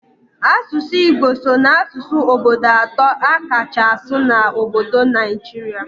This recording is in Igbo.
Asụsụ Igbo so n'asụsụ obodo atọ a kacha asụ n'obodo Naijirịa